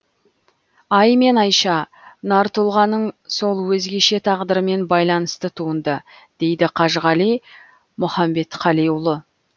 ай мен айша нар тұлғаның сол өзгеше тағдырымен байланысты туынды дейді қажығали мұханбетқалиұлы